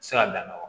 Se ka dan wa